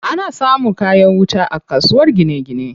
Ana samun kayan wuta a kasuwar gine gine.